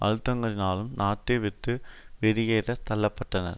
அழுத்தங்களினாலும் நாட்டை விட்டு வெளியேற தள்ள பட்டார்